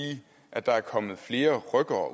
at der er kommet flere rykkere